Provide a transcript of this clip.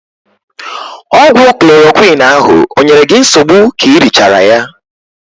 Ọgwụ klorokwiin ahụ o nyere gị nsogbu k'i richaara ya?